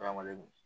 Ala ma lem